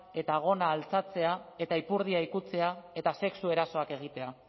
eta gona altxatzea eta ipurdia ikutzea eta sexu erasoak egitea